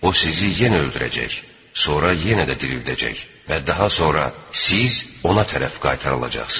O sizi yenə öldürəcək, sonra yenə də dirildəcək və daha sonra siz ona tərəf qaytarılacaqsınız.